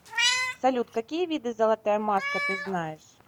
салют какие виды золотая маска ты знаешь